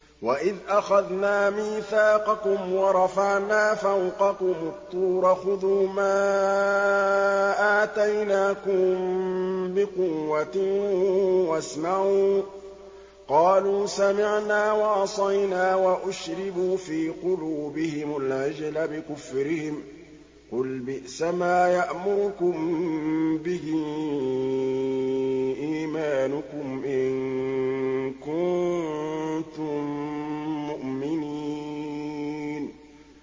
وَإِذْ أَخَذْنَا مِيثَاقَكُمْ وَرَفَعْنَا فَوْقَكُمُ الطُّورَ خُذُوا مَا آتَيْنَاكُم بِقُوَّةٍ وَاسْمَعُوا ۖ قَالُوا سَمِعْنَا وَعَصَيْنَا وَأُشْرِبُوا فِي قُلُوبِهِمُ الْعِجْلَ بِكُفْرِهِمْ ۚ قُلْ بِئْسَمَا يَأْمُرُكُم بِهِ إِيمَانُكُمْ إِن كُنتُم مُّؤْمِنِينَ